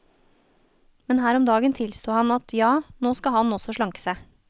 Men her om dagen tilsto han at ja, nå skal han også slanke seg.